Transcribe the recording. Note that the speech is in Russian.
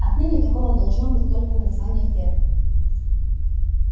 отныне таково должно было быть название фермы